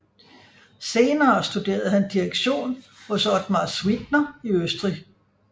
Senere studerede han direktion hos Otmar Suitner i Østrig